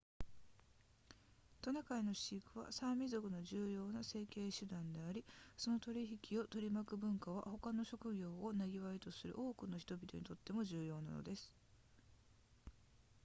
トナカイの飼育はサーミ族の重要な生計手段でありその取引を取り巻く文化は他の職業を生業とする多くの人々にとっても重要なものです